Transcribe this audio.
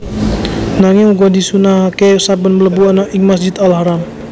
Nanging uga disunnahaké saben mlebu ana ing Masjid Al Haram